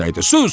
Xuss!